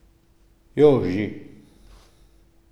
Joži.